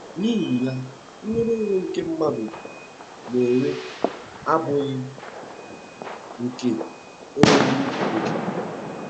N'ihi ya, nnwere onwe nke ndị mmadụ na-enwe abụghị nke enweghị oke.